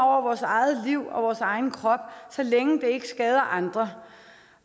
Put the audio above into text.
vores eget liv og vores egen krop så længe det ikke skader andre